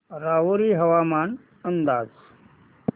राहुरी हवामान अंदाज